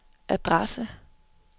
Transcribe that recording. adresse